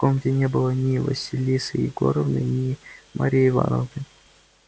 в комнате не было ни василисы егоровны ни марьи ивановны